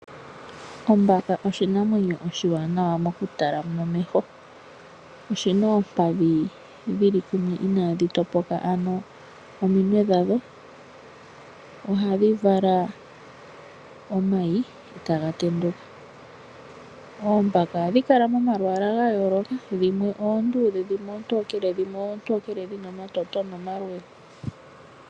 Ombaka oshinamwenyo oshiwanawa mokutala nomeho. Oshi na omakaha inaaga topoka kumwe, ano ominwe dhadho. Ohadhi vala omayi e taga tenduka. Oombaka ohadhi kala momalwaala ga yooloka. Dhimwe oonduudhe, dhimwe oontookele dho dhimwe oontookele dhi na omalwaala omaluudhe.